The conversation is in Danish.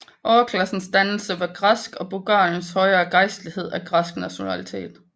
Overklassernes dannelse var græsk og Bulgariens høje gejstlighed af græsk nationalitet